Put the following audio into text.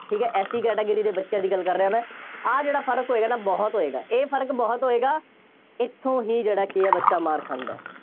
ਠੀਕ ਹੈ SC category ਦੇ ਬੱਚਿਆਂ ਦੀ ਗੱਲ ਕਰ ਰਿਹਾਂ ਮੈਂ, ਆਹ ਜਿਹੜਾ ਫਰਕ ਹੋਏਗਾ ਨਾ ਬਹੁਤ ਹੋਏਗਾ, ਇਹ ਫਰਕ ਬਹੁਤ ਹੋਏਗਾ, ਇੱਥੋਂ ਹੀ ਜਿਹੜਾ ਕਿ ਹੈ ਬੱਚਾ ਮਾਰ ਖਾਂਦਾ ਹੈ।